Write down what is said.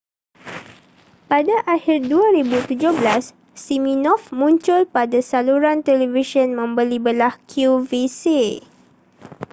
pada akhir 2017 siminoff muncul pada saluran televisyen membeli-belah qvc